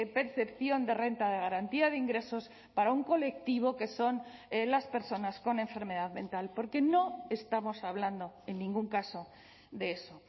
percepción de renta de garantía de ingresos para un colectivo que son las personas con enfermedad mental porque no estamos hablando en ningún caso de eso